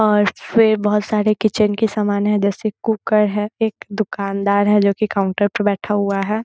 और फिर बहुत सारे किचन की सामान है जैसे कुकर है एक दुकानदार है जो की काउंटर पर बैठा हुआ है।